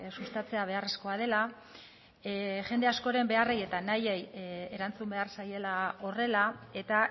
sustatzea beharrezkoa dela jende askoren beharrei eta nahiei erantzun behar zaiela horrela eta